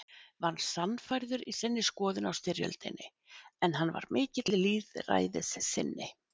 var sannfærður í sinni skoðun á styrjöldinni, en hann var mikill lýðræðissinni.